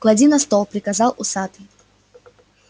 клади на стол приказал усатый